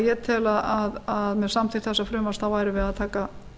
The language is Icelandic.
ég tel að með samþykkt þessa frumvarps værum við að taka